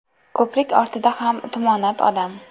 Ko‘prik ortida ham tumonat odam.